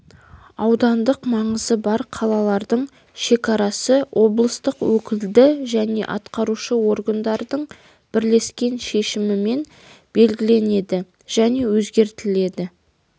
аудандық маңызы бар қалалардың шекарасы облыстық өкілді және атқарушы органдардың бірлескен шешімімен белгіленеді және өзгертіледі